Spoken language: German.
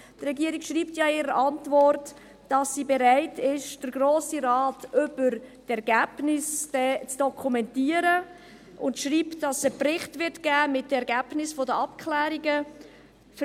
Die Regierung schreibt ja in ihrer Antwort, dass sie bereit ist, den Grossen Rat dann über die Ergebnisse zu dokumentieren, und sie schreibt, dass es einen Bericht mit den Ergebnissen der Abklärungen geben wird.